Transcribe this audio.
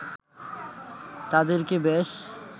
তাদেরকে বেশ